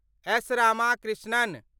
S. Ramakrishnan